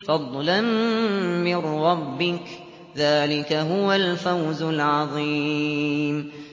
فَضْلًا مِّن رَّبِّكَ ۚ ذَٰلِكَ هُوَ الْفَوْزُ الْعَظِيمُ